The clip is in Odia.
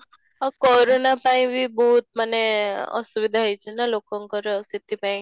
corona ପାଇଁ ବି ବହୁତ ମାନେ ଅସୁବିଧା ହେଇଛି ନା ଲୋକଙ୍କର ସେଠି ପାଇଁ